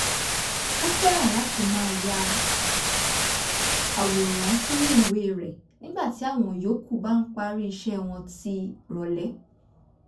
ó fẹ́ràn láti máa ya àwòrán sínú ìwé rẹ̀ nígbà tí àwọn yòókù bá ń parí iṣẹ́ wọn tì rọ̀lẹ́